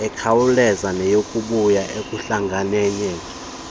ekhawulezayo neyokukhula okuhlangeneyo